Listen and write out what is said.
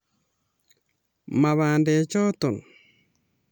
Maa bandechoto